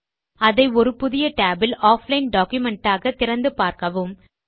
மற்றும் அதை ஒரு புதிய tab இல் ஆஃப்லைன் டாக்குமென்ட் ஆக திறந்து பார்க்கவும்